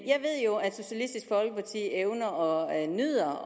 jeg ved jo at socialistisk folkeparti evner og nyder